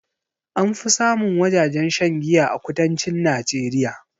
Anfi samun wajajen shan giya a kudancin najeriya